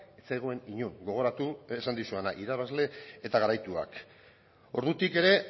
ez zegoen inon gogoratu lehen esan dizudana irabazle eta garaituak ordutik ere